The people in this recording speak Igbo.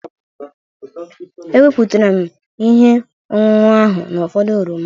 Ewepụtara m ihe ọṅụṅụ ahụ n'ụfọdụ oroma.